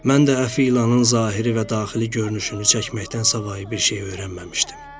Mən də əfi ilanın zahiri və daxili görünüşünü çəkməkdən savayı bir şey öyrənməmişdim.